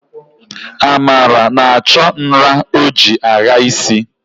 Amara na-achọ nra o ji agha isi